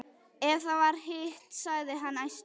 Ef það var hitt, sagði hann æstur: